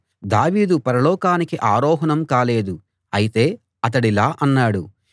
దావీదు పరలోకానికి ఆరోహణం కాలేదు అయితే అతడిలా అన్నాడు